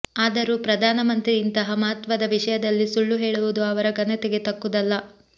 ಆದರೂ ಪ್ರಧಾನ ಮಂತ್ರಿ ಇಂತಹ ಮಹತ್ವದ ವಿಷಯದಲ್ಲಿ ಸುಳ್ಳು ಹೇಳುವುದು ಅವರ ಘನತೆಗೆ ತಕ್ಕುದಲ್ಲ